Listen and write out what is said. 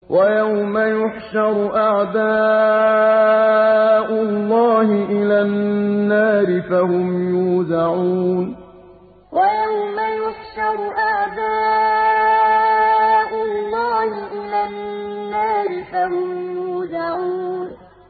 وَيَوْمَ يُحْشَرُ أَعْدَاءُ اللَّهِ إِلَى النَّارِ فَهُمْ يُوزَعُونَ وَيَوْمَ يُحْشَرُ أَعْدَاءُ اللَّهِ إِلَى النَّارِ فَهُمْ يُوزَعُونَ